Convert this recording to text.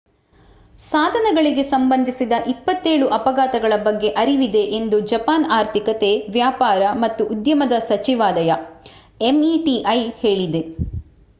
ಸಾಧನಗಳಿಗೆ ಸಂಬಂಧಿಸಿದ 27 ಅಪಘಾತಗಳ ಬಗ್ಗೆ ಅರಿವಿದೆ ಎಂದು ಜಪಾನ್ ಆರ್ಥಿಕತೆ ವ್ಯಾಪಾರ ಮತ್ತು ಉದ್ಯಮದ ಸಚಿವಾಲಯವು ಎಂಇಟಿಐ ಹೇಳಿದೆ